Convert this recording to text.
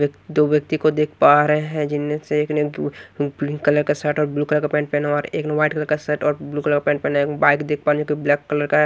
एक दो व्यक्ति को देख पा रहे हैं जिनमें से एक ने पिंक कलर का शर्ट और ब्लू कलर का पैंट पहना हुआ है और एक ने व्हाइट कलर का शर्ट और ब्ल्यू कलर का पैंट पहना हुआ है एक बाइक देख पा रही ये तो ब्लैक कलर का है।